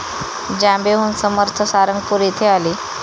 जांबेहून समर्थ सारंगपूर येथे आले.